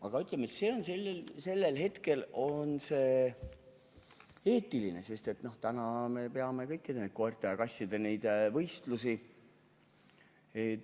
Aga ütleme, et see on selline eetiline küsimus, sest nüüd me peame kõiki neid koerte-kasside võistlusi.